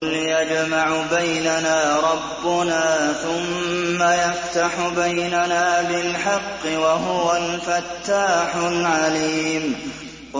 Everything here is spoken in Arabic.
قُلْ يَجْمَعُ بَيْنَنَا رَبُّنَا ثُمَّ يَفْتَحُ بَيْنَنَا بِالْحَقِّ وَهُوَ الْفَتَّاحُ الْعَلِيمُ